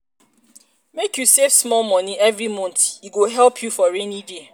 make you save small money every month e go um help you for rainy day